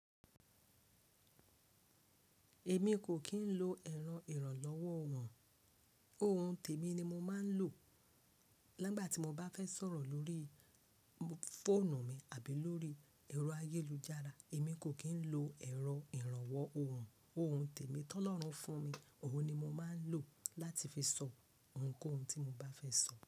Èmi kò kì í lo ẹ̀rọ ìrànlọ́wọ́ ohùn. Òun tèmi ni mo máa ń lo nígbà tí mo bá fẹ́ sọ̀rọ̀ lórí fóònù mi àbí lórí ẹ̀rọ ayélujára, èmi kò kì í lo ẹ̀rọ ìrànwọ́ ohùn. Ohun tèmi tí Ọlọ́run fún mi, òhun ni mo máa ń lò láti fi sọ ohunkóhun tí mo bá fẹ́ sọ.